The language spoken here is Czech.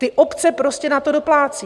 Ty obce prostě na to doplácí.